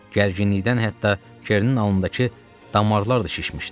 Gərginlikdən hətta Kernin alnındakı damarlar da şişmişdi.